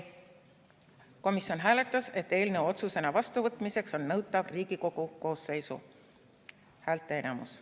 Komisjon hääletas, et eelnõu otsusena vastuvõtmiseks on nõutav Riigikogu koosseisu häälteenamus.